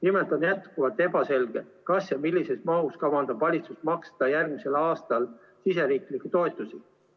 Nimelt on jätkuvalt ebaselge, millises mahus ja kas üldse kavandab valitsus maksta järgmisel aastal riigisiseseid toetusi.